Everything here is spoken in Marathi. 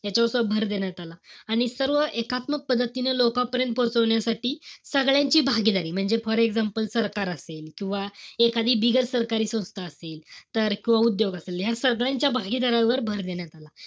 याच्यावर भर देण्यात आला. आणि सर्व एकात्मक पद्धतीने लोकांपर्यंत पोचवण्यासाठी सगळ्यांची भागीदारी. म्हणजे for example सरकार असेल. किंवा एखादी बिगर सरकारी संस्था असेल. तर किंवा उद्योग असेल. तर सगळ्यांच्या भागीदारीवर भर देण्यात आला.